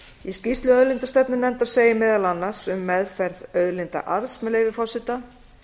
í skýrslu auðlindastefnunefndar segir meðal annars um meðferð auðlindaarðs með leyfi forseta